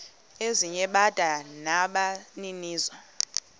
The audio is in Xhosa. ezinye bada nabaninizo